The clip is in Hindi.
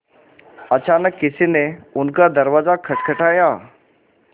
अचानक किसी ने उनका दरवाज़ा खटखटाया